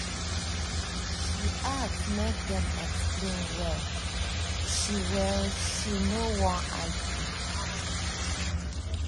she ask make dem explain well she well she no wan argue